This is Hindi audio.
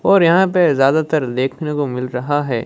और यहां पे ज्यादातर देखने को मिल रहा है।